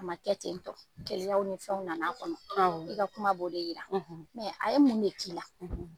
A ma kɛ tentɔ. Keleyaw ni fɛnw nana kɔnɔ , i ka kuma b'o de yira . a ye mun de K'i la?